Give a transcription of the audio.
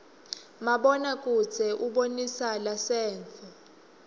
mabona kudze ubonisa lasenttfo